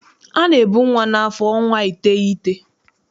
A na-ebu nwa n'afọ ọnwa iteghete.